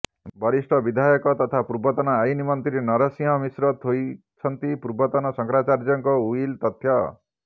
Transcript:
ବରିଷ୍ଠ ବିଧାୟକ ତଥା ପୂର୍ବତନ ଆଇନ ମନ୍ତ୍ରୀ ନରସିଂହ ମିଶ୍ର ଥୋଇଛନ୍ତି ପୂର୍ବତନ ଶଙ୍କରାଚାର୍ଯ୍ୟଙ୍କ ଉଇଲ୍ ତଥ୍ୟ